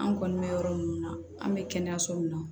An kɔni bɛ yɔrɔ min na an bɛ kɛnɛyaso min na